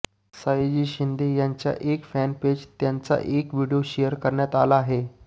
सयाजी शिंदे यांच्या एका फॅनपेज त्यांचा एक व्हिडीओ शेअर करण्यात आला आहे